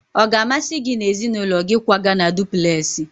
Ọ ga-amasị gị na ezinụlọ gị ịkwaga na dupulesi?